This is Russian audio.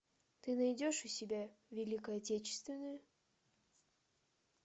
ты найдешь у себя великая отечественная